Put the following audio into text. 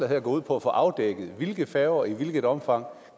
her går ud på at få afdækket hvilke færger der i hvilket omfang